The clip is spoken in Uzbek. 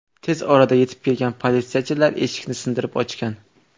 Tez orada yetib kelgan politsiyachilar eshikni sindirib ochgan.